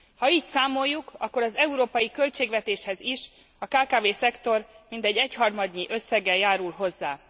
Ha így számoljuk, akkor az európai költségvetéshez is a kkv szektor mintegy egyharmadnyi összeggel járul hozzá.